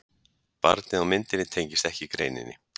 Barnið á myndinni tengist ekki greininni.